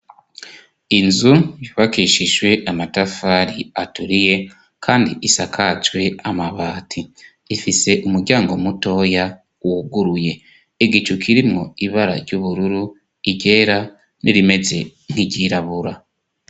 Inzu yubakishijwe amatafari aturiye kandi isakajwe amabati ,ifise umuryango mutoya wuguruye, igicu kirimo ibara ry'ubururu iryera n'irimeze nk'iryirabura.